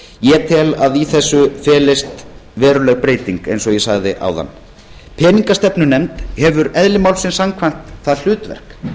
ég tel að í þessu felist veruleg breyting eins og ég sagði áðan peningastefnunefnd hefur eðli málsins samkvæmt það hlutverk